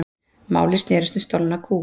Málið snerist um stolna kú